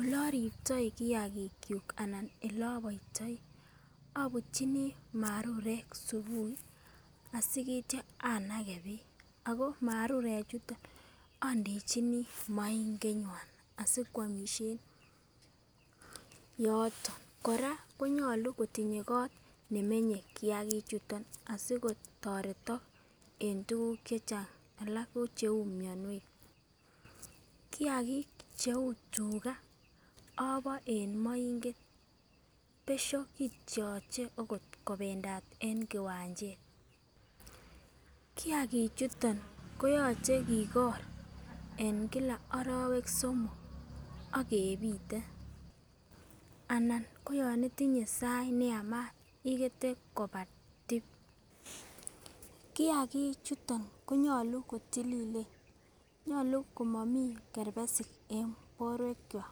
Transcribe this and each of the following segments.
ole oribtoi kiyagik chuk anan ole oboitoi obutyinii marurek subui sikityo anage beek ako marurek chuto nii ondechini moinget nywan asikwomishen yoton. koraa konyolu kotindo kot nemenye kiyaki chuton asikotoretok en tukuk chechang alak ko cheu mionwek. kiyagik cheu tugaa oboe en moinget besho kityoche okot kopendat en kiwanchet. Kiyagik chuton koyoche kigor en kila orowek somok ak kepite anan ko yon itinye sait neyamat ikete koba tip. Kiyagik chuton konyolu kotililen, nyolu komomii kerbesik borwek kwak.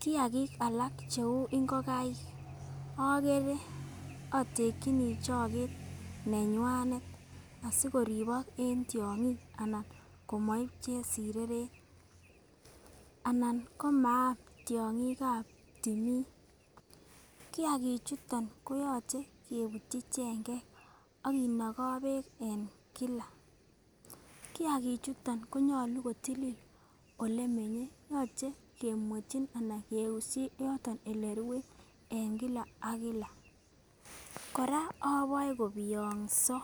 Kiyagik alak cheu ingokaiek okere otekinii choket neywanet asikoribok en tyongik anan komoib chesireret anan komaam tyongikab timin. Kiyagik chuton koyoche kebutyi chengek ak kinogoo beek en kila, kiyakik chuton koyolu kotilil olemenye yoche kemuetyin anan keushi yoton olerue en kila ak kila koraa oboe kobiyongso.